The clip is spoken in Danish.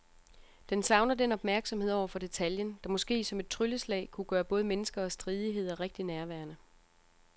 Den savner den opmærksomhed over for detaljen, der måske som et trylleslag kunne gøre både mennesker og stridigheder rigtig nærværende.